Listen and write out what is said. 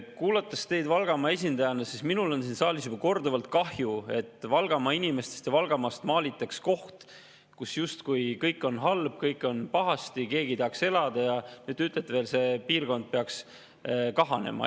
Kuulates teid kui Valgamaa esindajat, on minul siin saalis olnud juba korduvalt kahju, et Valgamaa inimestest ja Valgamaast maalitakse pilt, justkui see oleks koht, kus kõik on halb, kõik on pahasti, kus keegi ei tahaks elada, ja nüüd te ütlete veel, et selle piirkonna peaks kahanema.